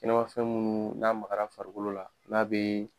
I n'a fɔ fɛn munnu n'a maka la farikolo la , n'a be